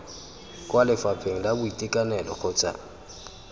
kwa lefapheng la boitekanelo kgotsa